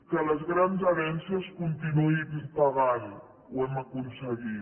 que les grans herències continuïn pagant ho hem aconseguit